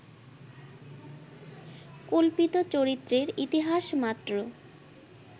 কল্পিত চরিত্রের ইতিহাস মাত্র